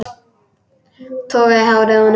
Toga í hárið á honum.